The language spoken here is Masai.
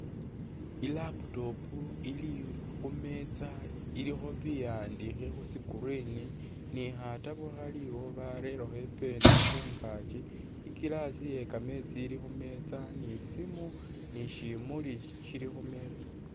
I’laptop ili khumesta ilikho biwandikhe khu screen ni khatabo khaliwo barerekho i’pen khungakyi , i’glass iye kamesti ili khumesta ni isimu ni shimuli shili khumesta.